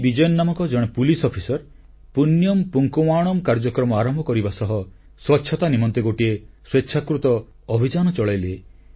P Vijayan ନାମକ ଜଣେ police officer Punyam Poonkavanam କାର୍ଯ୍ୟକ୍ରମ ଆରମ୍ଭ କରିବା ସହ ସ୍ୱଚ୍ଛତା ନିମନ୍ତେ ଗୋଟିଏ ସ୍ୱେଚ୍ଛାକୃତ ଅଭିଯାନ ଚଳାଇଲେ